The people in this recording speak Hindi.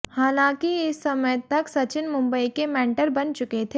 हालांकि इस समय तक सचिन मुंबई के मेंटर बन चुके थे